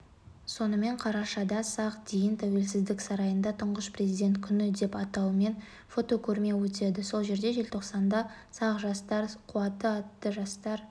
сонымен қарашада сағ дейін тәуелсіздік сарайында тұңғыш президент күні деген атаумен фотокөрме өтеді сол жерде желтоқсанда сағ жастар қуаты атты жастар